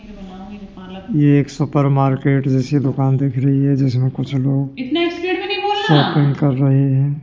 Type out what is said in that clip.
ये एक supermarket जैसी दुकान देख रही है जिसमें कुछ लोग शॉपिंग कर रहे हैं।